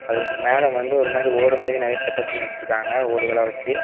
அது மேல வந்து ஒரு மாரி ஓடு மாதிரி நிறைய செட்டப் பண்ணி வச்சிருக்காங்க ஓடுகளா வச்சி.